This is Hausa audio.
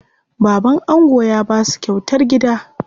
Baban ango ya basu kyautar gida.